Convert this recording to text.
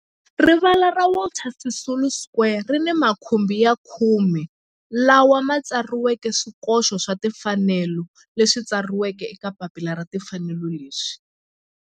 Rivala ra Walter Sisulu Square ri ni makhumbi ya khume lawa ma tsariweke swikoxo swa timfanelo leswi tsariweke eka papila ra timfanelo leswi